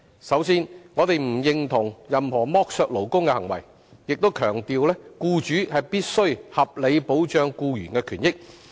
首先，我們不認同任何剝削勞工的行為，亦強調僱主必須合理保障僱員的權益。